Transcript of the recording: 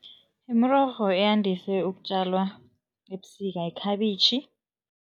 Imirorho eyandise ukutjalwa ebusika, yikhabitjhi.